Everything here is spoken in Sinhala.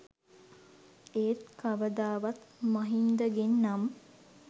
ඒත් කවදාවත් මහින්දගෙන් නම්